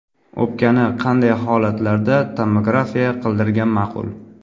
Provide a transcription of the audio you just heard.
O‘pkani qanday holatlarda tomografiya qildirgan ma’qul?